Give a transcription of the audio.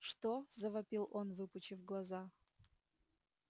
что завопил он выпучив глаза